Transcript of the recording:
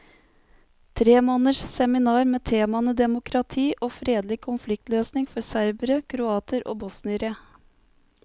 Tre måneders seminar med temaene demokrati og fredelig konfliktløsning for serbere, kroater og bosniere.